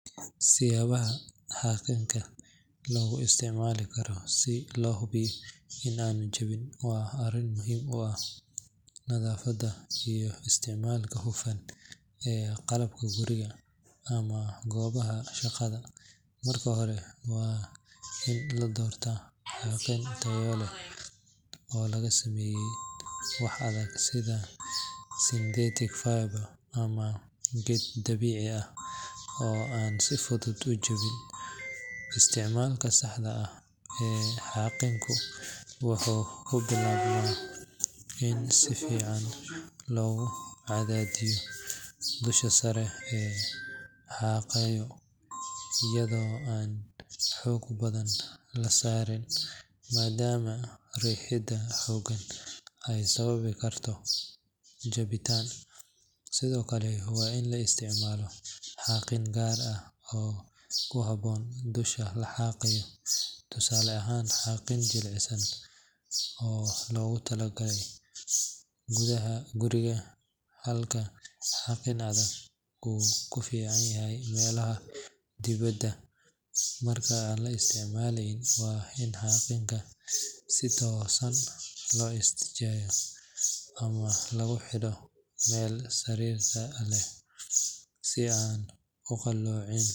Siyaabaha xaaqinka loogu isticmaali karo si loo hubiyo in aanu jabin waa arrin muhiim u ah nadaafadda iyo isticmaalka hufan ee qalabka guriga ama goobaha shaqada. Marka hore, waa in la doortaa xaaqin tayo leh oo laga sameeyay wax adag sida synthetic fiber ama geed dabiici ah oo aan si fudud u jabin. Isticmaalka saxda ah ee xaaqinka wuxuu ku bilaabmaa in si siman loogu cadaadiyo dusha sare ee la xaaqayo iyadoo aan xoog badan la saarin, maadaama riixidda xooggan ay sababi karto jabitaan. Sidoo kale, waa in la isticmaalo xaaqin gaar ah oo ku habboon dusha la xaaqayo tusaale ahaan, xaaqin jilicsan oo loogu talagalay gudaha guriga, halka xaaqin adag uu ku fiican yahay meelaha dibadda. Marka aan la isticmaaleyn, waa in xaaqinka si toosan loo istaajiyo ama lagu xidho meel sariirta leh, si aan u qalloocin.